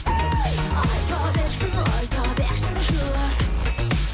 айта берсін айта берсін жұрт